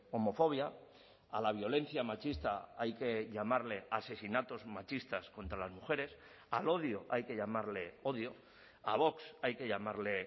homofobia a la violencia machista hay que llamarle asesinatos machistas contra las mujeres al odio hay que llamarle odio a vox hay que llamarle